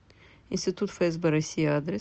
институт фсб россии адрес